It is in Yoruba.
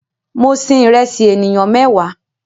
Mo sin ìrẹsì ènìyàn mẹ́wàá